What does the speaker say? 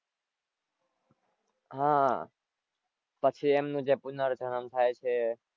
હાં પછી એમનું જે પુનરજનમ થાય છે.